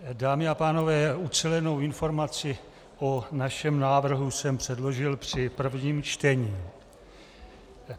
Dámy a pánové, ucelenou informaci o našem návrhu jsem předložil při prvním čtení.